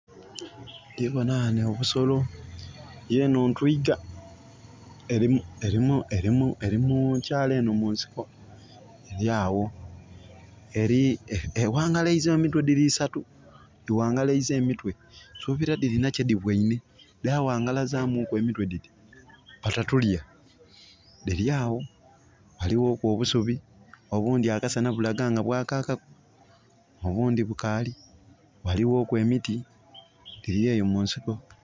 Ndiboona wano obusolo, yeeno ntwita eri mukyaalo eno mu nsiko eryawo. Ewangalaiza emitwe, diri esatu, diwangalaiza emitwe nsubira dirina kye dibweine dawangalazamu ku emitwe diti "batatulya" . Diryawo, waliwoku obusubi, obundi bulaga nti akasana kabwakaku, obundi bukali. Waliwo ku emiti. Diryeyo mu nsiko